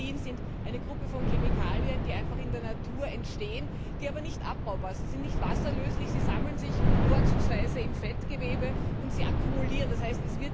Dioxin ist eine Gruppe von Chemikalien, die einfach in der Natur entstehen, die aber nicht abbaubar sind. Sie sind nicht wasserlöslich, sie sammeln sich vorzugsweise im Fettgewebe und sie akkumulieren sich, d. h.